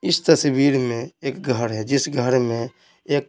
इस तस्वीर में एक घर है जिस घर में एक--